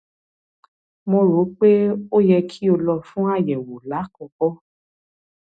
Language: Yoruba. mo rò pé ó yẹ kí o lọ fún àyẹwò lákọọkọ